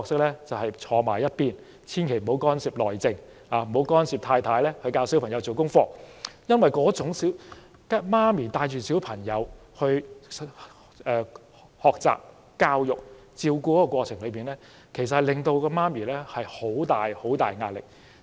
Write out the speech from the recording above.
便是靜坐一旁，千萬不要干涉"內政"，不要干涉太太如何教導小朋友做功課，因為母親在帶領小朋友學習、施教和照顧的過程中，母親其實受到很大壓力。